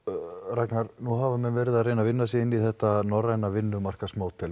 Ragnar nú hafa menn verið að reyna að vinna sig inn í þetta norræna vinnumarkaðsmódel